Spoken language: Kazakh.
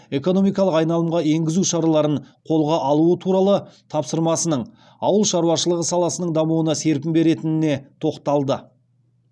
экономикалық айналымға енгізу шараларын қолға алуы туралы тапсырмасының ауыл шаруашылығы саласының дамуына серпін беретініне тоқталды